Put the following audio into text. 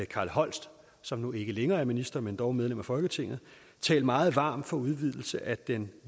carl holst som nu ikke længere er minister men dog medlem af folketinget talt meget varmt for en udvidelse af den